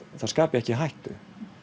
það skapi ekki hættu